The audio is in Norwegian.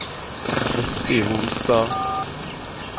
Kristi Holstad